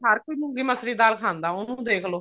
ਹਰ ਕੋਈ ਮੂੰਗੀ ਮਸਰੀ ਦੀ ਦਾਲ ਖਾਂਦਾ ਉਹਨੂੰ ਦੇਖਲੋ